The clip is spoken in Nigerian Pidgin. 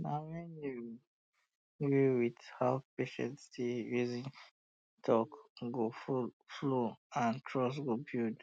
na when you gree with how patient dey reason talk go flow and trust go build